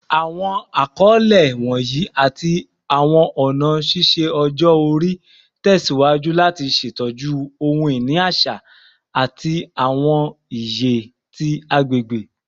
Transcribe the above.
Awọn akọle wọnyi ati awọn ọna ṣiṣe ọjọ-ori tẹsiwaju lati ṣetọju ohun-ini aṣa ati awọn iye ti agbegbe